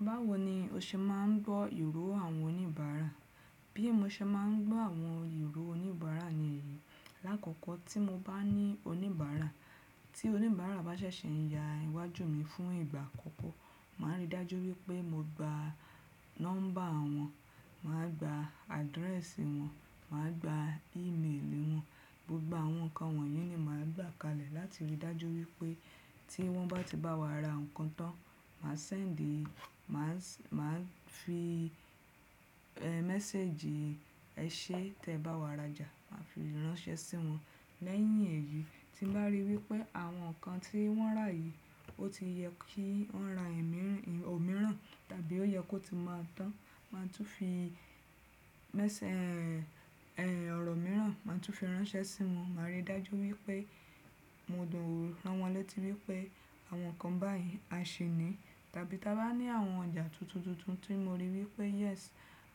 Báwo ni o ṣe máa ń gbọ́ ìró àwọn oníbàárà? Bí mo ṣe máa ń gbọ́ àwọn ìró oníbàárà ní èyí, lákòókò tí mo bá ní oníbàárà, tí oníbàárà bá ṣẹ̀ṣẹ̀ ya iwájú mi fún ìgbà àkọ́kọ́, màá rí dájú wípé mo gba nọ́mbà wọn, màá gba address wọn, màá gba email wọn, gbogbo àwọn nǹkan wọ̀nyí ni màá gba kalẹ̀ láti rí dájú wípé tí wọ́n bá ti bá wa ra nǹkan tán, màá sẹ́ẹ̀ńdì, màá màá fi mẹ́sẹ́ẹ̀jì ẹṣẹ́ tí ẹ bá wa rajà, màá fi ránṣẹ́ sí wọn. Lẹ́yìn èyí tí mo bá ríi wípé àwọn nǹkan tí wọ́n rà yìí ó ti yẹ kí wọ́n ra ẹ̀míìràn, òmíràn tàbí ó yẹ kó ti máa tán, màá tún fi mẹ́sẹ́ ẹ, ẹ̀ ọ̀rọ̀ mìíràn màá tún fi ránṣẹ́ sí wọn. Màá rí dájú wípé mo dòò ran wọn létí wípé àwọn nǹkan báyìí a ṣi ní. Tàbí tí a bá ní àwọn ọjà tuntun tuntun tí mo rí i wípé yes